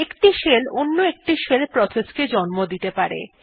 একটি শেল অন্য একটি শেল প্রসেস কেও জন্ম দিতে পারে